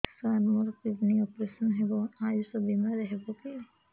ସାର ମୋର kidney operation ହେବ ଆୟୁଷ ବିମାରେ ହେବ କି